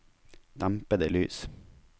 dempede lys